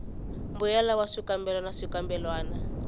mbuyelo wa swikambelo na swikambelwana